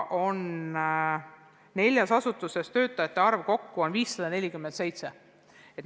Neljas asutuses kokku on töötajate arv 547.